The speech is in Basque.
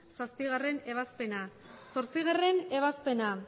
zazpigarrena ebazpena zortzigarrena ebazpena